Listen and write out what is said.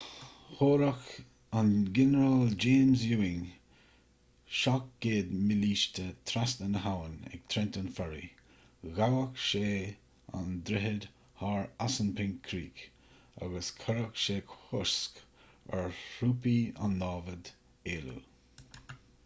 thabharfadh an ginearál james ewing 700 mílíste trasna na habhann ag trenton ferry ghabhfadh sé an droichead thar assunpink creek agus chuirfeadh sé cosc ar thrúpaí an namhad éalú